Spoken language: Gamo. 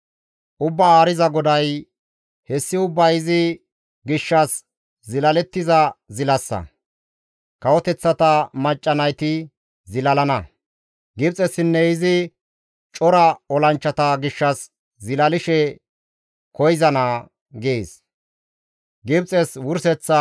Ubbaa Haariza GODAY, «Hessi ubbay izi gishshas zilalettiza zilassa; kawoteththata macca nayti zilalana; Gibxessinne izi cora olanchchata gishshas zilalishe koyzana» gees.